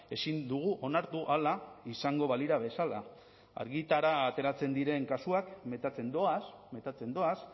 ezin dugu onartu hala izango balira bezala argitara ateratzen diren kasuak metatzen doaz metatzen doaz